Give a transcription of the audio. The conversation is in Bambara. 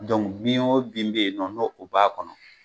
bin o bin bɛ yen nɔ n'o o b'a kɔnɔ,